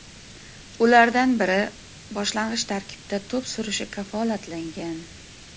Ulardan biri boshlang‘ich tarkibda to‘p surishi kafolatlangan.